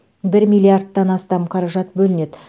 бір миллиардтан астам қаражат бөлінеді